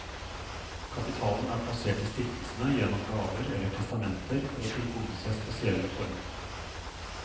Kapitalen er plassert i stiftelsene gjennom gaver eller testamenter for å tilgodese spesielle formål.